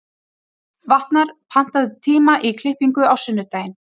Vatnar, pantaðu tíma í klippingu á sunnudaginn.